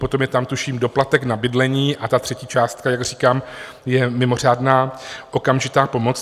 Potom je tam, tuším, doplatek na bydlení, a ta třetí částka, jak říkám, je mimořádná okamžitá pomoc.